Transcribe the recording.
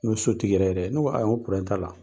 N ko sotigi yɛrɛ yɛrɛ dɛ ne ko ayiwa n ko t'a la.